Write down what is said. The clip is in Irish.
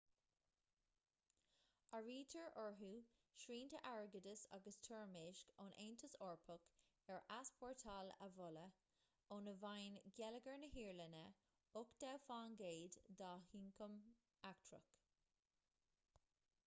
áirítear orthu srianta airgeadais agus toirmeasc ón aontas eorpach ar easpórtáil amhola óna bhfaigheann geilleagar na hiaráine 80% dá ioncam eachtrach